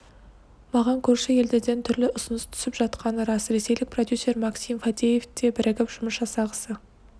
маған көрші елдерден түрлі ұсыныс түсіп жатқаны рас ресейлік продюсер максим фадеев те бірігіп жұмыс жасағысы